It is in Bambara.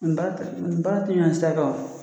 N baara ta, nin ni baa ti ɲɔgɔn ɲɛ sira kan wo.